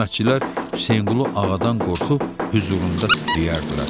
Xidmətçilər Həsənqulu ağadan qorxub, hüzurunda titrəyərdilər,